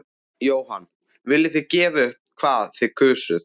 Jóhann: Viljið þið gefa upp hvað þið kusuð?